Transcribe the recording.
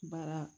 Baara